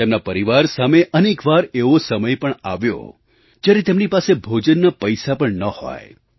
તેમના પરિવાર સામે અનેક વાર એવો સમય પણ આવ્યો જ્યારે તેમની પાસે ભોજનના પૈસા પણ ન હોય